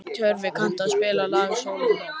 Tjörvi, kanntu að spila lagið „Sól um nótt“?